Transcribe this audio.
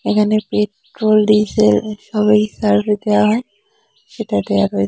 এখানে petrol diesel সবই service দেয়া হয় সেটা দিয়া রয়--